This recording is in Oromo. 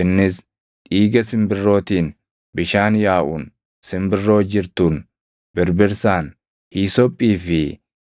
Innis dhiiga simbirrootiin, bishaan yaaʼuun, simbirroo jirtuun, birbirsaan, hiisophii fi